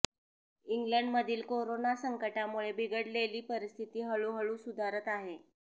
इंग्लडमधील corona संकटामुळे बिघडलेली परिस्थिती हळूहळू सुधारत आहे